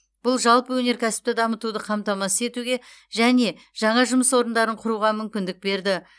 бұл жалпы өнеркәсіпті дамытуды қамтамасыз етуге және жаңа жұмыс орындарын құруға мүмкіндік берді